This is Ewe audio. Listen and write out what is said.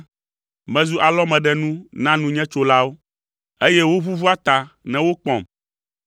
Mezu alɔmeɖenu na nunyetsolawo, eye woʋuʋua ta ne wokpɔm.